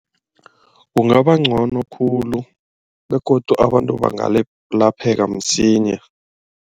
Kungabangcono khulu begodu abantu bangalapheka msinya.